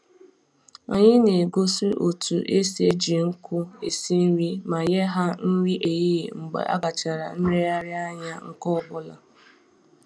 Anyị na-egosi otu esi eji nkụ esi nri ma nye ha nri ehihie mgbe a gachara nlereanya nke ọbụla